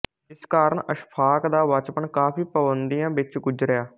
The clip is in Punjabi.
ਇਸ ਕਾਰਨ ਅਸ਼ਫ਼ਾਕ ਦਾ ਬਚਪਨ ਕਾਫ਼ੀ ਪਾਬੰਦੀਆਂ ਵਿਚ ਗੁਜ਼ਰਿਆ